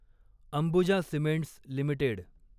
Ambuja Cements limited